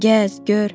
Gəz, gör.